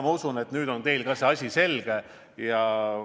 Ma usun, et nüüd on teile ka see asi selge.